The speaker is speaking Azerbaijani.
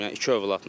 Yəni iki övladla.